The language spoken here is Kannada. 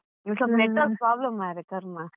ಇಲ್ಲಿ ಸ್ವಲ್ಪ network problem ಮಾರ್ರೆ ಕರ್ಮಾ.